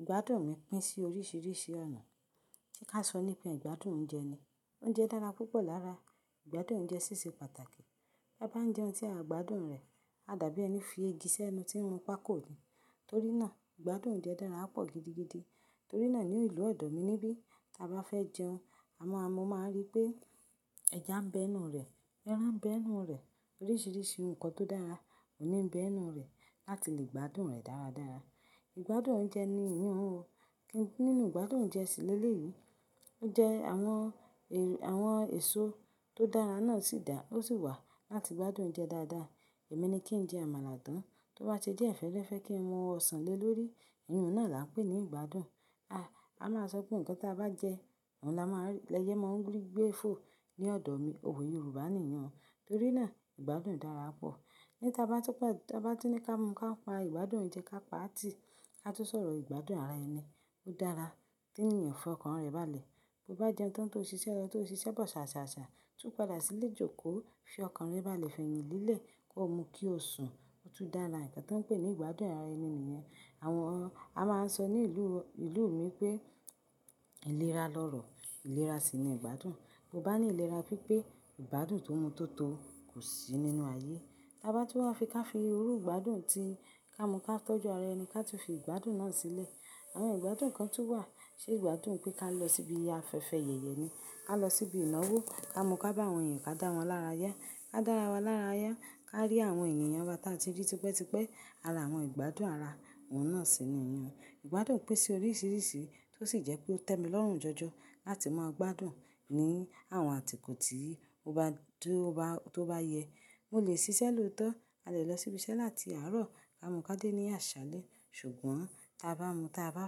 Ìgbádùn mi pín sí oríṣìíríṣìí ọ̀nà tí ká sọ nípe ìgbádùn oúnjẹ ni. Oúnjẹ dára púpọ̀ lára ìgbádùn oúnjẹ ṣíṣe pàtàkì. Bí a bá ń jẹun tí a gbádùn rẹ̀, a dàbí ẹni fi igi sí ẹnu tí ń run pákó ni. Torí náà ìgbádùn oúnjẹ dára pọ̀ gidigidi. Torí náà ní ìlú ẹ̀dọ̀ mi níbí tí a bá fẹ́ jẹun, a ma mọ máa ń rí pé ẹja ń bẹ ẹnu rẹ̀, ẹran ń bẹ ẹnu rẹ̀, oríṣìíríṣìí nǹkan tó dára òní ń bẹ ẹnu rẹ̀ láti lè gbádùn rẹ̀ dára dára. Ìgbádùn oúnjẹ ni eyi un o. Nínú ìgbádùn oúnjẹ sì lé lé yìí, ó jẹ àwọn èso tó dára náà sì dà, ó sì wà láti gbádùn oúnjẹ dáadáa. Èmi ni kí ń jẹ àmàlà tán, tó bá se die fẹre fẹ̀, ẹ fẹ́ kí ń mu ọsàn lé lórí, ìyi un náà là ń pè ní ìgbádùn. A máa sọ pé nǹkan tí a bá jẹ, òun la máa rí. Leye mọ́ n gbé fo ní ọ̀dọ̀ mi. Òwe Yorùbá nìyẹn. Torí náà ìgbádùn dára pọ̀. Bí ta bá ti pé tí a bá ti ní ká mú ká pa ìgbádùn oúnjẹ ká pa tí ká tó sọ̀rọ̀, ìgbádùn ara ẹni dára. Tí ènìyàn fọkàn rẹ̀ baálẹ̀, bí ó bá jẹun tán tó ṣiṣẹ́, ẹni tó ṣiṣẹ́ bọ̀ ṣà ṣà ṣà, tú padà sílé jókòó, fi ọkàn rẹ baálẹ̀ fi ẹyni le lé kó mu kí ó sùn, ó tún dára. Nǹkan tí wọ́n ń pè ní ìgbádùn ara ẹni nìyẹn. Àwọn a máa ń sọ ní ìlú ìlú mi pé ìlera lọ́rọ̀ ìlera sì ni ìgbádùn. Bí ó bá ní ìlera pípé ìgbádùn tó mú tó tọ kò sí nínú ayé. Bá túwa fi ká fi rú ìgbádùn tí ká mú ká tọ́jú ara ẹni ká tú fi ìgbádùn náà sílé. Àwọn ìgbádùn kan tú wà. Ṣé ìgbádùn pé ká lọ síbi afẹ́fẹ́ yẹ̀yẹ ni, ká lọ síbi ìnáwó, ká mú ká bá àwọn ènìyàn ká dáwọn lára yá, ká dára wa lára yá, ká rí àwọn ènìyàn wa tí a ti rí tipẹ́ tipẹ́. Arà àwọn ìgbádùn ara, òun náà sì ni ìyàn. Ìgbádùn pín sí oríṣìíríṣìí tó sì jẹ́ pé ó tẹ́mi lọ́rùn jọjọ láti máa gbádùn ni àwọn àtìkò tí o bá dúró tó bá yẹ. Mo lè ṣiṣẹ́ lòótọ́, a lè lọ síbi iṣẹ́ láti àárọ̀ ká mú ká dé ní àṣálẹ́. Ṣùgbọ́n tí a bá mú tí a bá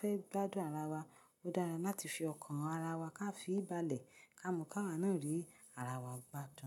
fẹ́ gbádùn ara wa, ó dára láti fi ọkàn ara wa ká fi bá lè ká mú ká wà náà rí ara wa gbádùn.